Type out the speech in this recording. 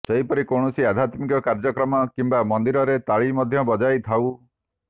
ସେହିପରି କୌଣସି ଆଧ୍ୟାତ୍ମିକ କାର୍ଯ୍ୟକ୍ରମ କିମ୍ବା ମନ୍ଦିରରେ ତାଳି ମଧ୍ୟ ବଜାଇ ଥାଉ